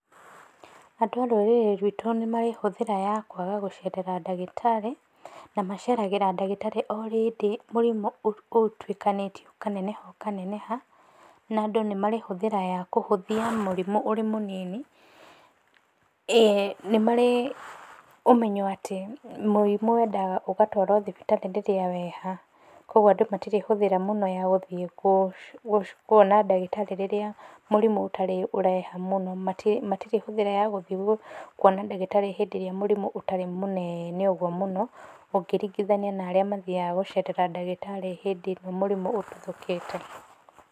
Andũ a rũrĩrĩ rwitũ nĩ marĩ hũthĩra ya kwaga gũcerera ndagĩtarĩ, na maceragĩra ndagĩtarĩ o hĩndĩ mũrimu ũtuĩkanĩtie ũkaneneha ũkaneneha, na andũ nĩmarĩ hũthĩra ya kũhũthia mũrimũ ũrĩ mũnini. ĩĩ, nĩ marĩ ũmenyo atĩ mũrimũ wendaga ũgatwarwo thibitarĩ rĩrĩa weha. Koguo andũ matirĩ hũthĩra mũno ya gũthiĩ kuona ndagĩtarĩ ĩrĩa mũrimũ ũtarĩ ũreha mũno. Matirĩ hũthĩra ya gũthiĩ kuona ndagĩtarĩ hĩndĩ ĩrĩa mũrimũ ũtarĩ mũnene ũguo mũno, ũkĩringithania na arĩa mathiyaga gũcerera ndagĩtarĩ hĩndĩ ĩrĩa mũrimũ ũtuthũkĩte.